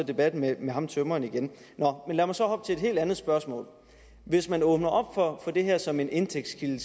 debatten med med ham tømreren igen nå men lad mig så hoppe til et helt andet spørgsmål hvis man åbner for det her som en indtægtskilde